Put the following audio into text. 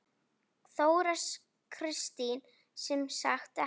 Þóra Kristín: Sem sagt ekki?